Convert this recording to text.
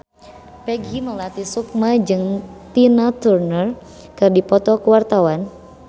Peggy Melati Sukma jeung Tina Turner keur dipoto ku wartawan